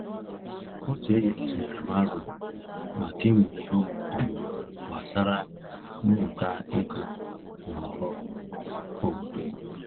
Otu enyi m tụnyere m aro maka imụ ihe ọmụmụ gbasara mmụta ego na ọrụ obodo.